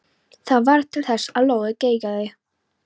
Það varð til þess að lóðið geigaði.